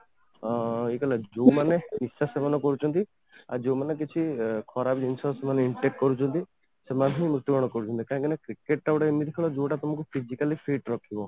ଅଂ ଯୋଉମାନେ ନିଶା ସେବନ କରୁଛନ୍ତି ଆଉ ଯୋଉମାନେ ବେଶୀ ଖରାପ ଜିନିଷ ମାନେ intake କରୁଛନ୍ତି ସେମାନେ ହିଁ ମୃତୁବରଣ କରୁଛନ୍ତି କାହିଁକିନା cricket ଟା ଗୋଟେ ଏମିତି ଖେଳ ଜଉଟା ତମକୁ Physically fit ରଖିବ